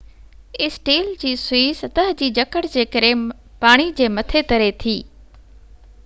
steel جي سوئي سطح جي جڪڙ جي ڪري پاڻي جي مٿي تري ٿي